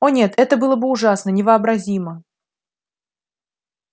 о нет это было бы ужасно невообразимо